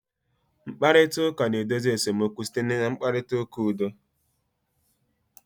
Mkparịta ụka na-edozi esemokwu site na mkparịta ụka udo